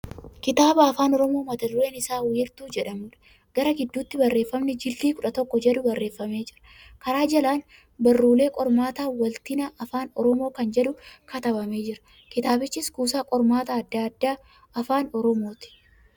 Kitaaba Afaan Oromoo mata dureen isaa wiirtuu jedhamuudha. Garaa gidduuttii barreeffamni jildii 11 jedhu barreeffamee jira. Kara jalaan barruulee qormaataa waltina Afaan Oromoo kan jedhu katabamee jira. Kitaabichi kuusa qormaata adda addaa Afaan Oromooti.